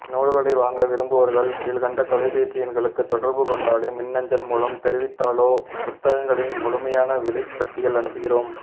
நூல்களை வாங்க விரும்புபவர்கள் கீழ்க்கண்ட தொலைபேசி எண்களுக்குத் தொடர்பு கொண்டாலோ மின்னஞ்சல் மூலம் தெரிவித்தாலோ புத்தகங்களின் முழுமையான விலைப்பட்டியல் அனுப்புகிறோம்